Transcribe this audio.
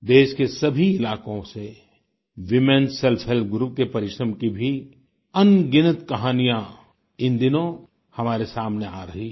देश के सभी इलाकों से वूमेन सेल्फ हेल्प ग्रुप के परिश्रम की भी अनगिनत कहानियाँ इन दिनों हमारे सामने आ रही हैं